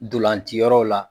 Dolantiyɔrɔw la